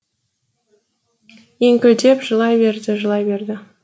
еңкілдеп жылай берді жылай берді